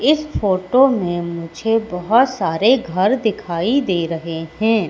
इस फोटो में मुझे बहोत सारे घर दिखाई दे रहे हैं।